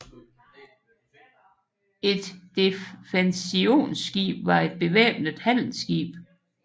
Et defensionsskib var et bevæbnet handelsskib